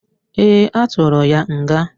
Ee, a tụrụ ya nga.